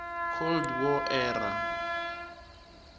cold war era